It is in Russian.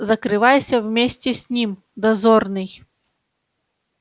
закрывайся вместе с ним дозорный